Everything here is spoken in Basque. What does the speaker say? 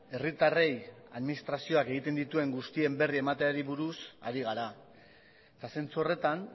herritarrei administrazioak egiten dituen guztien berri emateari buruz ari gara eta zentzu horretan